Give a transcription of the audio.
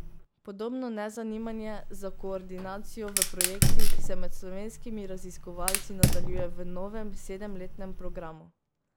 Podobno nezanimanje za koordinacijo v projektih se med slovenskimi raziskovalci nadaljuje v novem sedemletnem programu.